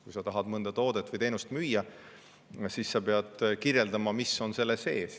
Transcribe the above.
Kui sa tahad mõnda toodet või teenust müüa, siis sa pead kirjeldama, mis on selle sees.